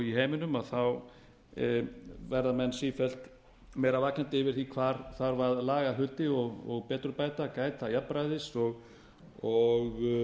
í heiminum verða menn sífellt meira vakandi yfir því hvar þarf að laga hluti og betrumbæta gæta jafnræðis og